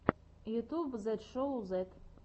ютьюб зет шоу зет